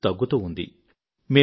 వాటి సంఖ్య తగ్గుతూ ఉండింది